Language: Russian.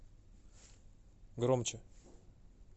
громче